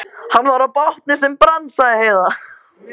Hann var í bátnum sem brann, sagði Heiða.